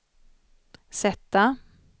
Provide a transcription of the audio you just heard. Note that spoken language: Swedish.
sätta